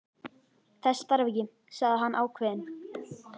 Þess þarf ekki, sagði hann ákveðinn.